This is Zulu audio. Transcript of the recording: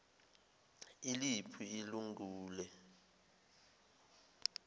iliphi ilun gule